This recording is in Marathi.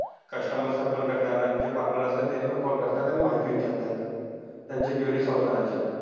Customer sir पण करतात. आणि जे partner असतात, त्यांना पण call करतात आणि माहिती विचारतात. त्यांच्या query solve करायच्या.